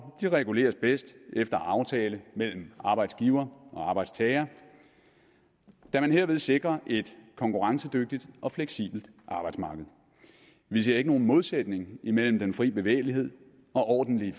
reguleres bedst efter aftale mellem arbejdsgiver og arbejdstager da man herved sikrer et konkurrencedygtigt og fleksibelt arbejdsmarked vi ser ikke nogen modsætning mellem fri bevægelighed og ordentlige